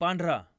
पांढरा